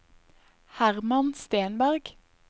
Hermann Stenberg